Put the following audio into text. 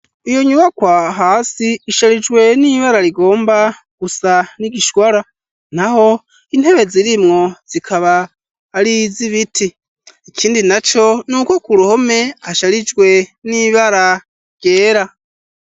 Iyo nyubakwa, hasi isharijwe, n'ibara rigomba gusa, n'igishwara; naho intebe zirimwo, zikaba ari iz’ibiti, ikindi naco, ni uko ku ruhome, hasharijwe n'ibara ryera.